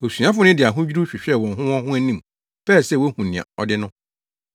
Asuafo no de ahodwiriw hwehwɛɛ wɔn ho wɔn ho anim pɛɛ sɛ wohu nea ɔde no no.